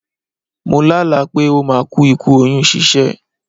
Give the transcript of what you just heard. Mo lá àlá pé ó máa ku ikú oyún ṣíṣẹ́.